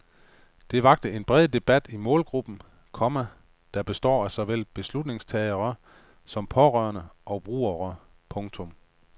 Det vakte en bred debat i målgruppen, komma der består af såvel beslutningstagere som pårørende og brugere. punktum